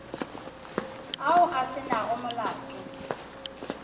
ao a se nago molato